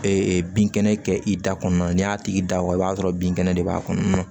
Ee binkɛnɛ kɛ i da kɔnɔ n'i y'a tigi da waga i b'a sɔrɔ binkɛnɛ de b'a kɔnɔ